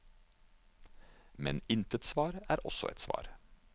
Men intet svar er også et svar.